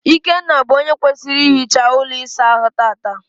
Ikenna bụ onye kwesịrị ihicha ụlọ ịsa ahụ tata.